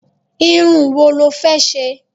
Irun wo lọ fẹ́ ṣe?